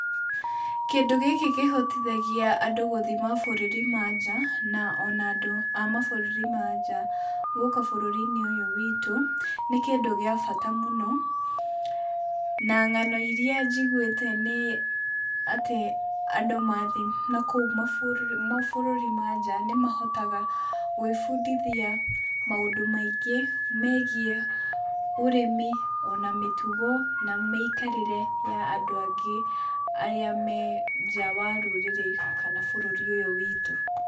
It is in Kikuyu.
Kĩndũ gĩkĩ kĩhotithagia andũ gũthiĩ mabũrũri ma nja o na andũ a mabũrũri ma nja gũka bũrũri ũyũ witũ. Nĩ kĩndũ gĩa bata mũno, na ng'ano iria njiguĩte nĩ atĩ andũ mathiĩ mabũrũri mau ma nja nĩ mahotaga gwĩbundithia maũndũ maingĩ megiĩ ũrĩmi, o na mĩtugo na mĩikarĩre ya andũ angĩ arĩa me nja wa rũrĩrĩ kana bũrũri ũyũ witũ.